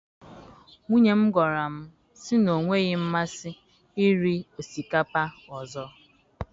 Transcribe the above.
Nwunye m gwara m sị na ọ nweghị masị iri osikapa ọzọ